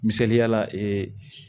Misaliyala ee